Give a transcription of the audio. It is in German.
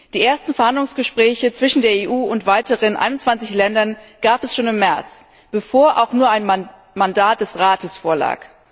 Die ersten Verhandlungsgespräche zwischen der EU und weiteren 21 Ländern gab es schon im März, bevor auch nur ein Mandat des Rates vorlag.